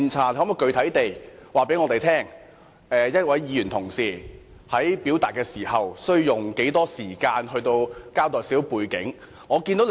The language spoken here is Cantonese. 你可否具體告訴我們，一位議員在表述時，可用多少時間來交代背景呢？